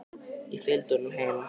Ég fylgdi honum heim.